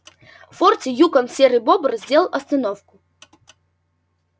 в форте юкон серый бобр сделал остановку